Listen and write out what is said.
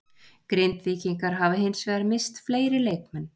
Grindvíkingar hafa hins vegar misst fleiri leikmenn.